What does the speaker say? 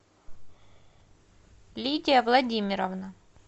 лидия владимировна